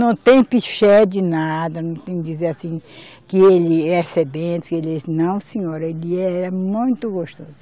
Não tem piché de nada, não tem dizer assim que ele é sebento, que ele é. Não, senhora, ele era muito gostoso.